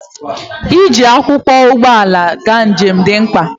Iji akwụkwọ ụgbọala aga njem dị mkpa